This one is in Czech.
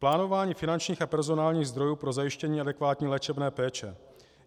Plánování finančních a personálních zdrojů pro zajištění adekvátní léčebné péče.